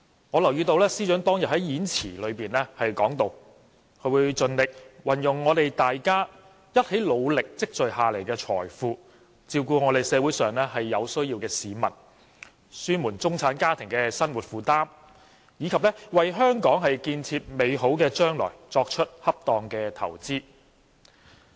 我留意到司長當天的演辭提到，會盡力"運用我們大家一起努力積累下來的財富，照顧社會上有需要的市民，紓緩中產家庭的生活重擔，以及為香港建設美好的將來作出恰當的投資"。